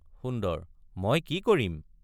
সুন্দৰ— মই কি কৰিম?